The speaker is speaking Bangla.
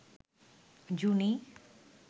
জুনি